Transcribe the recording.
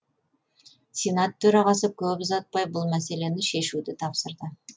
сенат төрағасы көп ұзатпай бұл мәселені шешуді тапсырды